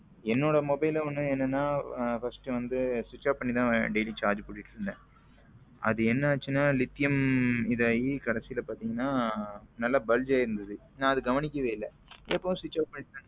என்னோட mobile ல ஒன்னு என்னன்னா first வந்து switch off பண்ணி தான் daily charge போட்டுட்டு இருந்தேன் அது என்ன ஆச்சுன்னா லிதியம் இதுலயே கடைசில பாத்தீங்கன்னா நல்லா bulge ஆகி இருந்தது நான் அதை கவனிக்கவே இல்ல எப்பவும் போல switch off பண்ணி